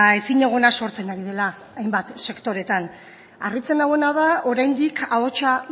ezinegona sortzen ari dela hainbat sektoretan harritzen nauena da oraindik ahotsa